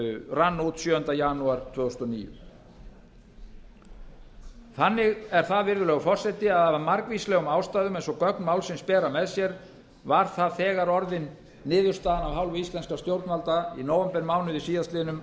rann út sjöunda janúar tvö þúsund og níu þannig er það virðulegur forseti af margvíslegum ástæðum eins og gögn málsins bera með sér var það þegar orðin niðurstaðan af hálfu íslenskra stjórnvalda i nóvembermánuði síðastliðinn að